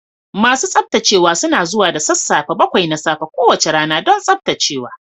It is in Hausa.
Masu tsaftacewa suna zuwa da sassafe bakwai na safe kowace rana don tsaftacewa.